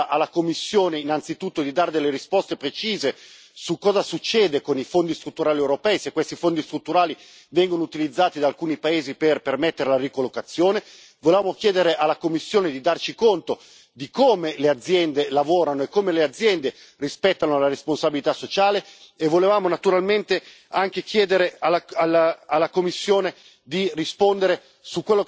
Perché noi volevamo fare una risoluzione in cui si chiedeva alla Commissione innanzitutto di dare delle risposte precise su cosa succede con i fondi strutturali europei, se questi fondi strutturali vengono utilizzati da alcuni paesi per permettere la ricollocazione, volevamo chiedere alla Commissione di darci conto di come le aziende lavorano e come le aziende rispettano la responsabilità sociale, e volevamo naturalmente anche chiedere